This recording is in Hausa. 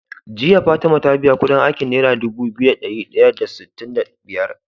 Jiya fatima ta biya Ƙudin aikin naira Dubu biyu da dari daya da sitin da biyar?